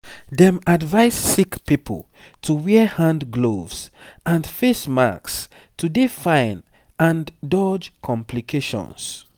dem advise sick pipo to wear hand gloves and face masks to dey fine and dodge complications